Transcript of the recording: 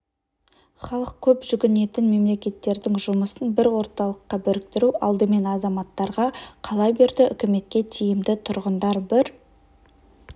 халық көп жүгінетін мекемелердің жұмысын бір орталыққа біріктіру алдымен азматтарға қала берді үкіметке тиімді тұрғындар бір